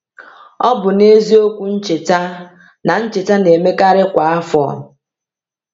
Ọ bụ n’eziokwu ncheta, na ncheta na-emekarị kwa afọ.